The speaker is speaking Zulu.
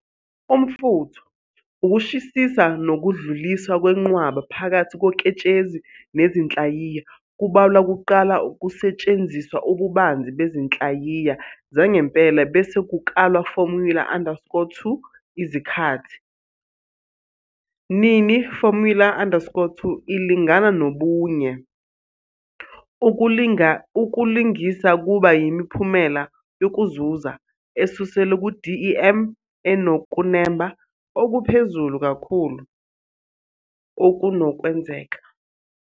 Umfutho, ukushisa nokudluliswa kwenqwaba phakathi koketshezi nezinhlayiya kubalwa kuqala kusetshenziswa ububanzi bezinhlayiya zangempela bese kukalwa formula_2 izikhathi. Nini formula_2 ilingana nobunye, ukulingisa kuba yimiphumela yokuzuza esuselwe ku-DEM enokunemba okuphezulu kakhulu okunokwenzeka.